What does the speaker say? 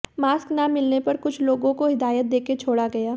mask ना मिलने पर कुछ लोगों को हिदायत देकर छोड़ा गया